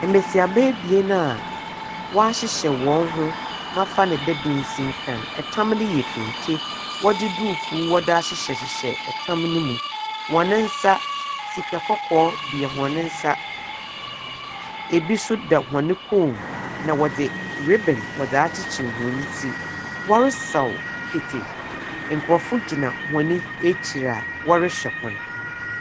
Mmesiaba bien a wɔahyehyɛ wɔn ho mafa ne dɛ densinkran ɛtam ne yɛ kente wɔde dukuu ahyehyɛ ɛtam no mu. Hɔn ne nsa sika kɔkɔɔ bia wɔn ne nsa, ebi nso da hɔn ne kɔmm, na wɔde ribbon wɔdaa kyekyere hɔn ti. Wɔresaw kete. Nkorɔfo gyina hɔn ɛkyiri a ɔrehwɛ hɔn.